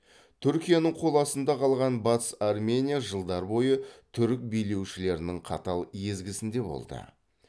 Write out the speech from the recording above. түркияның қол астында қалған батыс армения жылдар бойы түрік билеушілерінің қатал езгісінде болды